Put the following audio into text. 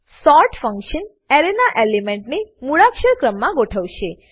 sort function એરેના એલિમેન્ટને મૂળાક્ષર ક્રમમાં ગોઠવશે